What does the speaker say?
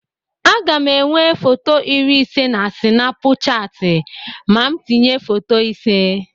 Aga m enwe foto iri ise na Sịnapụchatị ma m tinye foto ise.